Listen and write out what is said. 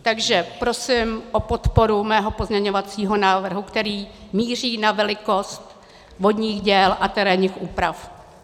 Takže prosím o podporu mého pozměňovacího návrhu, který míří na velikost vodních děl a terénních úprav.